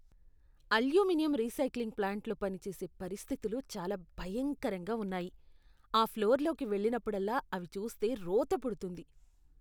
Aluminium recycling ప్లాంట్లో పని చేసే పరిస్థితులు చాలా భయంకరంగా ఉన్నాయి, ఆ ఫ్లోర్లోకి వెళ్ళినప్పుడల్లా అవి చూస్తే రోత పుడుతుంది.